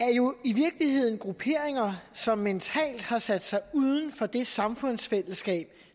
er jo i virkeligheden grupperinger som mentalt har sat sig uden for det samfundsfællesskab